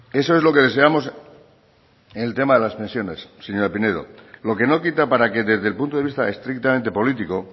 eso es lo que deseamos en el tema de las pensiones señora pinedo lo que no quita para que desde el punto de vista estrictamente político